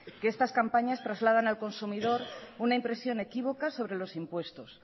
que estas campañas trasladan han consumidor una impresión equívoca sobre los impuestos